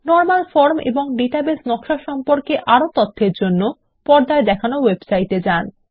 normal form ও database নকশা সম্পর্কে আরও তথ্যের জন্য পর্দায় দেখানো ওয়েবসাইটে যান